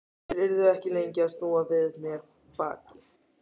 Þeir yrðu ekki lengi að snúa við mér baki.